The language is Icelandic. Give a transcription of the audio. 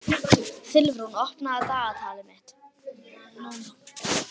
Silfrún, opnaðu dagatalið mitt.